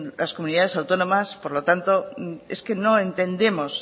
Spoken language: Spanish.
las comunidades autónomas por lo tanto es que no entendemos